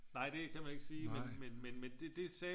Nej det kan man ikke sige men men men det sagde